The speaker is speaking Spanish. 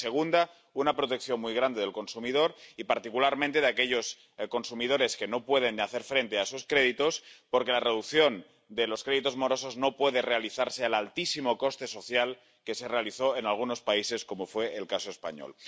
Y, el segundo, una protección muy grande del consumidor y, particularmente, de los consumidores que no pueden hacer frente a sus créditos, porque la reducción de los créditos morosos no puede realizarse al altísimo coste social que se realizó en algunos países, como fue el caso español.